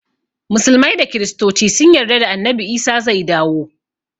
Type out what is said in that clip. Musulmai da kristoci sun yarda annabi isa zai dawo